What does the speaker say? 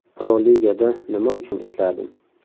Pro-Ligada nima uchun ishladim?